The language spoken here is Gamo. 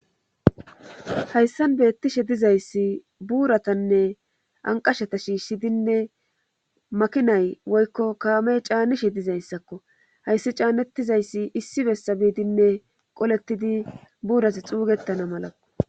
hayssan beettishe dizayssi buuratanne anqashata shiishshidinne makinay woykko kaamey caanishe dizayssakko hayssi caanettizayssi issi bessa biidinne qolettidi buuras xuugettana mala